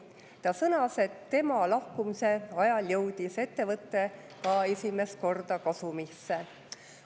Ta sõnas, et tema lahkumise ajal jõudis ettevõte ka esimest korda kasumisse.